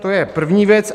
To je první věc.